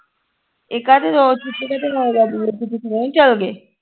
ਇਹ ਕਾਤੇ ਰੋ ਛੁਟਕੀ ਕਾਤੇ ਰੋਇਆ ਕਰਦੀ ਨੀ ਚਲ ਗਏ